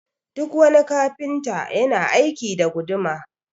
Duk wani Kafinta yana aiki da guduma